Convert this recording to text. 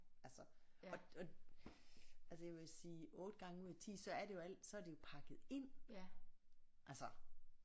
Altså og og altså jeg vil sige 8 gange ud af 10 så er det jo alt så er det jo pakket ind altså